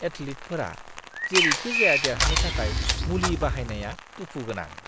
एथलीटफोरा जेरैखिजाया देरहानो थाखाय मुलि बाहायनाया दुखु गोनां!